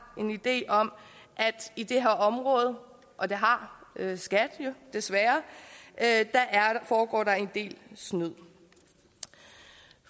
en idé om at i det her område og det har skat jo desværre foregår der en del snyd